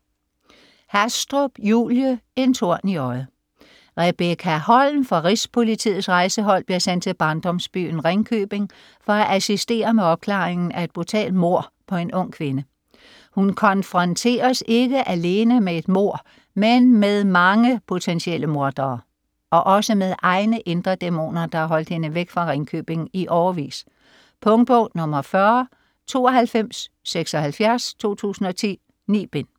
Hastrup, Julie: En torn i øjet Rebekka Holm fra Rigspolitiets Rejsehold bliver sendt til barndomsbyen Ringkøbing for at assistere med opklaringen af et brutalt mord på en ung kvinde. Hun konfronteres ikke alene med et mord med mange potentielle mordere, men også med egne indre dæmoner, der har holdt hende væk fra Ringkøbing i årevis. Punktbog 409276 2010. 9 bind.